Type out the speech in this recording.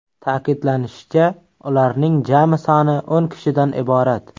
Ta’kidlanishicha, ularning jami soni o‘n kishidan iborat.